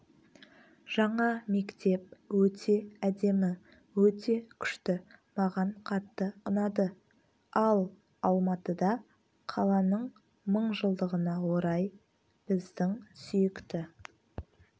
жаңа мектеп өте әдемі өте күшті маған қатты ұнады ал алматыда қаланың мыңжылдығына орай біздің сүйікті